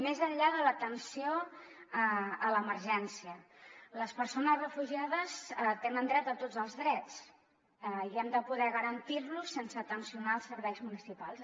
més enllà de l’atenció a l’emergència les persones refugiades tenen dret a tots els drets i hem de poder garantir los sense tensar els serveis municipals